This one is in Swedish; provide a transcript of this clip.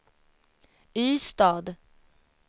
Ystad